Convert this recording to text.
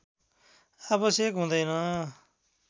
आवश्यक हुँदैन